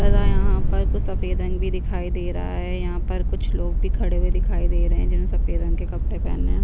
और यहाँ पर कुछ सफ़ेद रंग भी दिखाई दे रहा है यहाँ पर कुछ लोग भी खड़े हुवे दिखाई दे रहै है जिन्होंने सफ़ेद रंग के कपड़े पहने हैं।